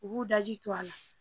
U b'u daji to a la